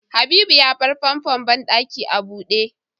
Habibu ya bar famfon banɗaki a buɗe